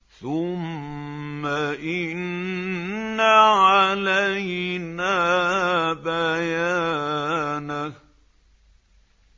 ثُمَّ إِنَّ عَلَيْنَا بَيَانَهُ